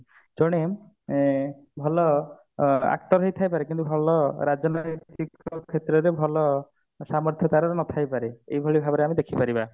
ତେଣୁ ଉଁ ଭଲ ଅ actor ହେଇଥାଇ ପାରେ କିନ୍ତୁ ଭଲ ରାଜନୈତିକ କ୍ଷେତ୍ରରେ ଭଲ ସାମର୍ଥ୍ୟ ତାର ନଥାଇ ପାରେ ଏଇଭଳି ଭାବରେ ଆମେ ଦେଖି ପାରିବା